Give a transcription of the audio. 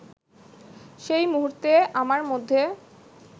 সেই মুহূর্তে আমার মধ্যে